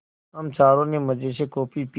हम चारों ने मज़े से कॉफ़ी पी